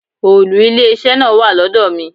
Òòlù ilé iṣẹ́ náà wà lọ́dọ̀ mi.